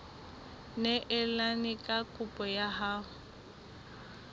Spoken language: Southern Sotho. neelane ka kopo ya hao